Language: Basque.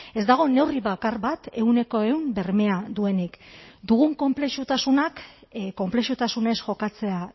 ez dago neurri bakar bat ehuneko ehun bermea duenik dugun konplexutasunak konplexutasunez jokatzea